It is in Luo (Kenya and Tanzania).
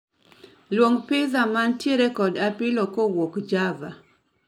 Luong piza mantire kod apilo kuwuok java